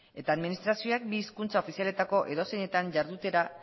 eta administrazioek bi hizkuntza ofizialetako edozeinetan jardutera